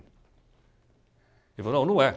Ele falou não, não é.